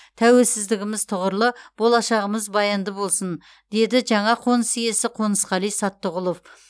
тәуелсіздігіміз тұғырлы болашағымыз баянды болсын деді жаңа қоныс иесі қонысқали саттығұлов